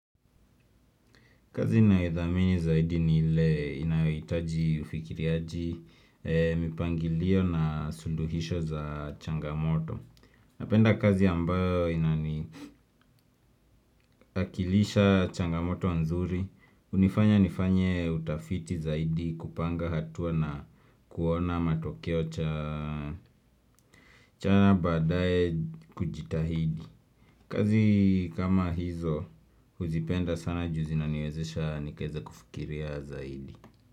Kazi na idhamini zaidi ni ile inayo hitaji ufikiriaji, mipangilio na suluhisho za changamoto. Napenda kazi ambayo inani inaniakilisha changamoto nzuri, unifanya nifanye utafiti zaidi kupanga hatua na kuona matokeo cha chana badae kujitahidi. Kazi kama hizo huzipenda sana juu zinaniwezesha nikaeza kufikiria zaidi.